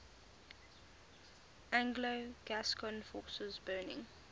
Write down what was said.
anglo gascon forces burning